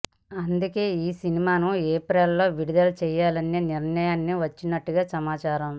అందుకే ఈ సినిమాను ఏప్రిల్ లో విడుదల చేయాలనే నిర్ణయానికి వచ్చినట్టుగా సమాచారం